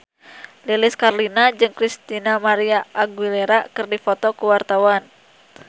Lilis Karlina jeung Christina María Aguilera keur dipoto ku wartawan